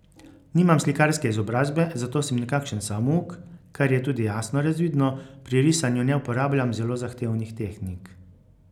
Nimam slikarske izobrazbe, zato sem nekakšen samouk, kar je tudi jasno razvidno, pri risanju ne uporabljam zelo zahtevnih tehnik.